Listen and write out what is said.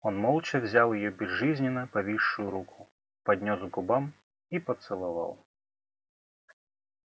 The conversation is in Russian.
он молча взял её безжизненно повисшую руку поднёс к губам и поцеловал